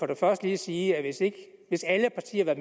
jeg først lige sige at hvis alle partier